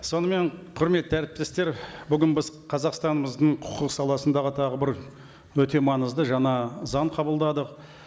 сонымен құрметті әріптестер бүгін біз қазақстанымыздың құқық саласындағы тағы бір өте маңызды жаңа заң қабылдадық